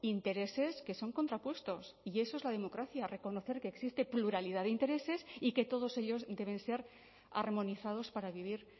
intereses que son contrapuestos y eso es la democracia reconocer que existe pluralidad de intereses y que todos ellos deben ser armonizados para vivir